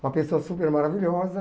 Uma pessoa super maravilhosa.